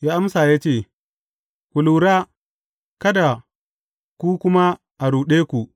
Ya amsa ya ce, Ku lura, kada ku kuma a ruɗe ku.